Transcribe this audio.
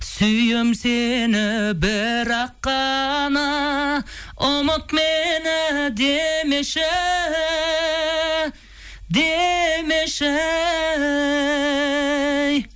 сүйем сені бірақ қана ұмыт мені демеші демеші